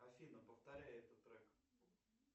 афина повторяй этот трек